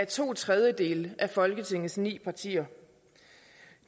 to tredjedele af folketingets partier